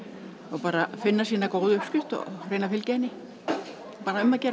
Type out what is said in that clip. bara finna sína góðu uppskrift og fylgja henni bara um að gera